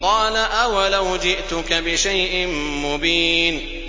قَالَ أَوَلَوْ جِئْتُكَ بِشَيْءٍ مُّبِينٍ